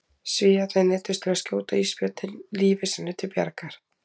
Svíarnir neyddust til að skjóta ísbjörninn lífi sínu til bjargar.